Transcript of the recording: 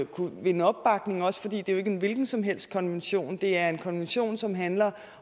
kunne vinde opbakning også fordi det er en hvilken som helst konvention det er en konvention som handler